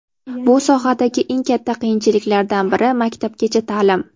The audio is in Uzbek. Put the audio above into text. Bu sohadagi eng katta qiyinchiliklardan biri - maktabgacha ta’lim.